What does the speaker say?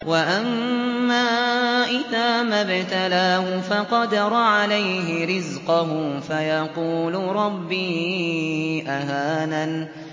وَأَمَّا إِذَا مَا ابْتَلَاهُ فَقَدَرَ عَلَيْهِ رِزْقَهُ فَيَقُولُ رَبِّي أَهَانَنِ